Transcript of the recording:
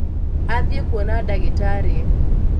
athiĩ kuona ndagĩtarĩ